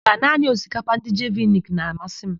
Mba, naanị osikapa ndị Jeviniki na-amasị m.